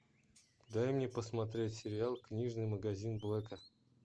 дай мне посмотреть сериал книжный магазин блэка